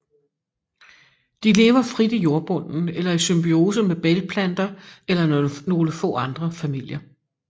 De lever frit i jordbunden eller i symbiose med bælgplanter eller nogle få andre familier